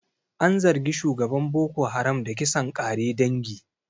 An zargi shugaban Boko Haram da kisan ƙare dangi.